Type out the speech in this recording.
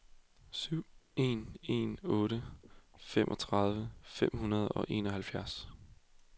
syv en en otte femogtredive fem hundrede og enoghalvfjerds